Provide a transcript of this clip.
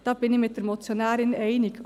Darin gehe ich mit der Motionärin einig.